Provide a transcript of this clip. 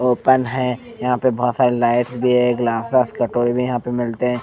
Open है यहाँ पे बहुत सारे लाइट्स भी है ग्लास -आस कटोरी भी यहाँं पे मिलते हैं।